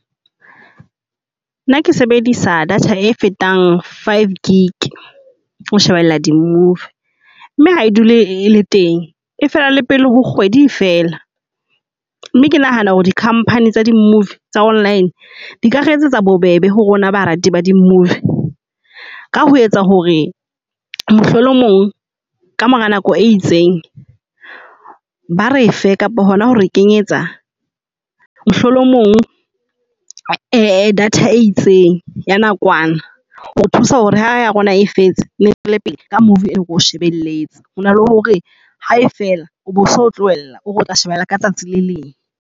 Nna ke sebedisa data e fetang five gig ho shebella di-movie mme ha e dule le teng. E fela le pele ho kgwedi e fela. Mme ke nahana hore di-company tsa di-movie tsa online di ka re etsetsa bobebe ho rona barati ba dimovie ka ho etsa hore mohlomong kamora nako e itseng, ba re fe kapa hona hore kenyetsa mohlomong a data e itseng ya nakwana. Ho thusa hore ha ya rona e fetse re tswele pele ka movie o o shebelletseng hore na le hore ha e fela o boso tlohela ore o tla shebella ka tsatsi le leng.